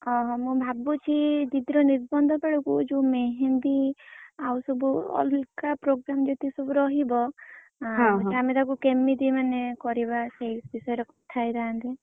ଓହୋ! ମୁଁ ଭାବୁଛି ଦିଦି ର ନିର୍ବନ୍ଧ ବେଳକୁ ଯଉ मेहेंदी ଆଉ ସବୁ ଅଲଗା programme ଯେତେ ସବୁ ରହିବ ଆମେ ତାକୁ କେମିତି ମାନେ କରିବା ସେଇ ବିଷୟରେ କଥା ହେଇଥାନ୍ତେ।